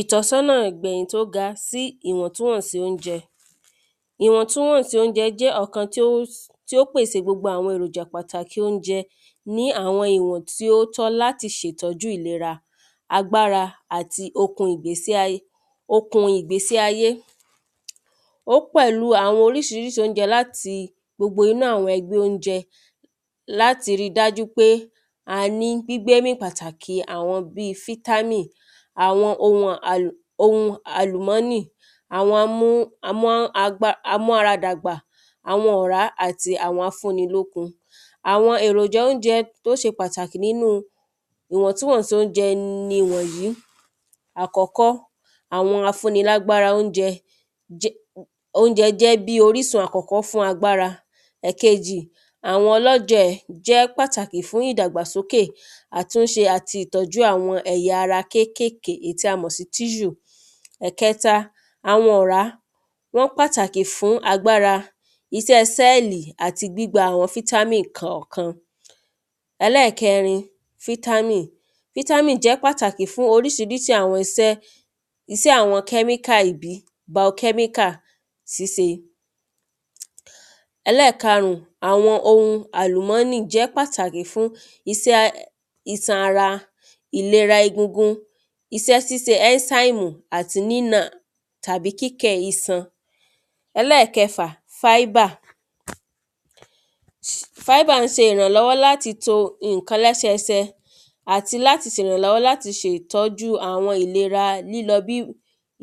Ìtọ́sọ́nà ìgbẹ̀yìn tó ga sí ìwọ̀ntúnwọ̀nsí óúnjẹ ìwọ̀ntúnwọ̀nsí óúnjẹ jẹ́ ọ̀kan tí ó pèsè gbogbo àwọn èròjà pàtàkì óúnjẹ ní àwọn ìwọ̀n tí ó tọ́ láti ṣètọ́jú ìlera agbára àti okun ìgbésí ayé ó pẹ̀lú àwọn orísirísi óúnjẹ láti inú àwọn ẹgbẹ́ óúnjẹ láti rí dájú pé a ní gbígbémì pàtàkì àwọn bí fítámì àwọn ohun àlùmọ́nì àwọn amú ara dàgbà àwọn ọ̀rá àti àwọn afún ni lókun Àwọn èròjà óúnjẹ tó ṣe pàtàkì nínú ìwọ̀ntúnwọ̀nsí óúnjẹ nìwọ̀nyìí àkọ́kọ́ àwọn afúni lágbára óúnjẹ óúnjẹ jẹ́ bí orísun àkọ́kọ́ fún agbára ẹ̀kejì àwọn ọlọ́jẹ̀ jẹ́ pàtàkì fún ìdàgbàsókè àtúnṣe àti ìtọ́jú àwọn ẹ̀yà ara kékèké tí a mọ̀ sí tissue. Ẹ̀kẹta àwọn ọ̀rá tó pàtàkì fún agbára isẹ́ sẹ́lì àti gbígba àwọn fítámì kọ̀kan Ẹlẹ́ẹ̀kẹrin fítámì fítámì jẹ́ pàtàkì fún àwọn orísirísi isẹ́ isẹ́ àwọn kẹ́míkà bio kẹ́mìkà síse Ẹlẹ́ẹ̀karùn àwọn ohun àlùmọ́nì jẹ́ pàtàkì fún isẹ́ isan ara ìlera egungun isẹ́ síse ezime tàbí kíkẹ̀ isan Ẹlẹ́ẹ̀kẹfà fíbà fíbà ń se ìrànlọ́wọ́ láti to nǹkan lẹ́sẹ ẹsẹ àti láti sèrànlọ́wọ́ láti se ìtọ́jú àwọn lílọ